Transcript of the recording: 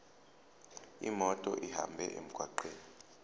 imoto ihambe emgwaqweni